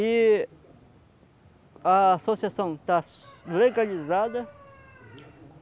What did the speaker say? E a associação está legalizada.